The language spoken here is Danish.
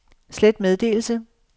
slet meddelelse